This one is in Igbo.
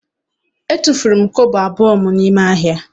Etufuru m kobo abụọ m n'ahịa.